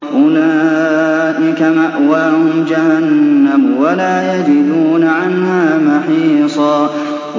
أُولَٰئِكَ مَأْوَاهُمْ جَهَنَّمُ وَلَا يَجِدُونَ عَنْهَا مَحِيصًا